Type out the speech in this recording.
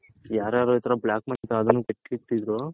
ಯಾರ್ಯಾರ್ ಹತ್ರ Black money ಎತ್ತಿಟಿದ್ರೋ